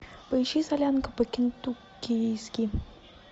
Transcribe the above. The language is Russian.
поищи солянка по кентуккийски